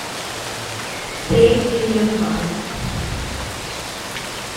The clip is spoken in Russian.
третий январь